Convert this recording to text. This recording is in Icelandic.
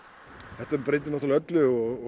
þetta breytir náttúrulega öllu